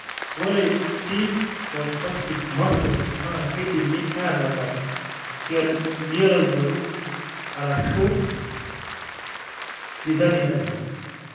Ore Stiff o spastic muscles naa keidimi atabak te lioresal ashuu tizanidine.